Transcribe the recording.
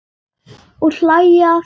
Og hlæja að þér.